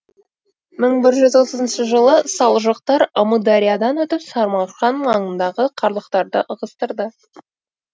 мың бір жүз отызыншы жылы салжұқтар амудариядан өтіп самарқан маңындағы қарлықтарды ығыстырды